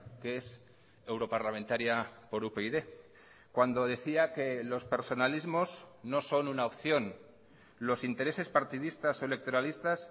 que es europarlamentaria por upyd cuando decía que los personalismos no son una opción los intereses partidistas o electoralistas